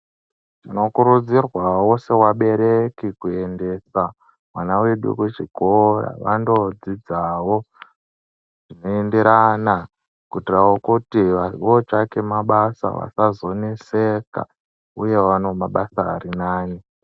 Tino kurudzirwawo se vabereki ku endesa vana vedu ku chikora vando dzidzawo zvino enderana kuitira kuti vanhu vo tsvake mabasa vasazo neseka uye vawanewo mabasa ari nane.